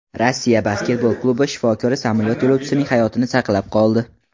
Rossiya basketbol klubi shifokori samolyot yo‘lovchisining hayotini saqlab qoldi.